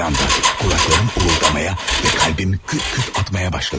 Bir anda qulaqlarım uğuldamağa və qəlbim küt-küt atmağa başladı.